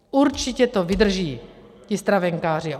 Určitě to vydrží ti stravenkáři.